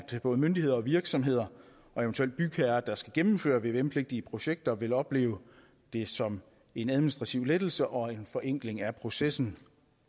både myndigheder og virksomheder og eventuelt bygherrer der skal gennemføre vvm pligtige projekter vil opleve det som en administrativ lettelse og en forenkling af processen